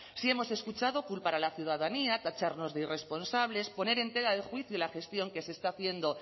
sí hemos escuchado culpar a la ciudadanía tacharnos de irresponsables poner en tela de juicio la gestión que se está haciendo